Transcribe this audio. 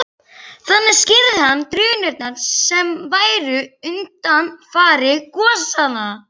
Þannig skýrði hann drunurnar sem væru undanfari gosanna.